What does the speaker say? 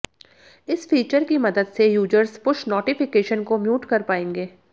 इस फीचर की मदद से यूजर्स पुश नोटिफिकेशन को म्यूट कर पाएंगे